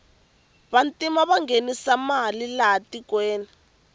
vantima vanghenisa mali laha tikweni